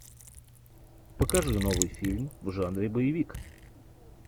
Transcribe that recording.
покажи новый фильм в жанре боевик